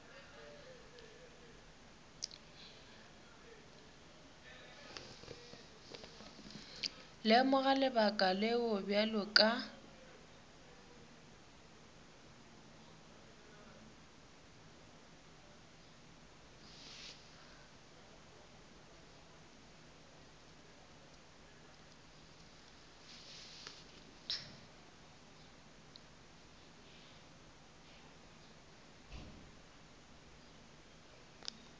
lemoga lebaka leo bjale ka